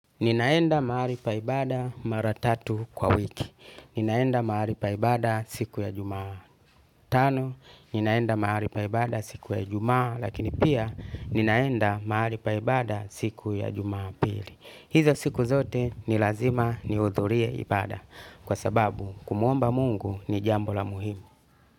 Ninaenda mahali pa ibada maratatu kwa wiki. Ninaenda mahali paibada siku ya jumaa tano. Ninaenda mahali pa ibada siku ya ijumaa lakini pia ninaenda mahali paibada siku ya juma pili. Hizo siku zote ni lazima niudhurie ibada kwa sababu kumuomba mungu ni jambo la muhimu.